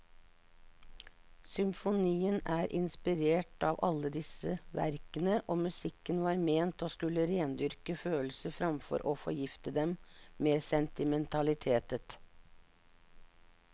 Symfonien er inspirert av alle disse verkene, og musikken var ment å skulle rendyrke følelser framfor å forgifte dem med sentimentalitet.